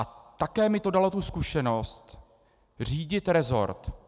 A také mi to dalo tu zkušenost řídit rezort.